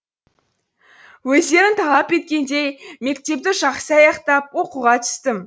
өздерің талап еткендей мектепті жақсы аяқтап оқуға түстім